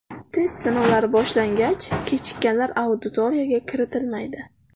Test sinovlari boshlangach, kechikkanlar auditoriyaga kiritilmaydi.